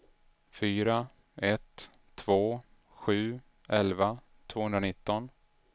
fyra ett två sju elva tvåhundranitton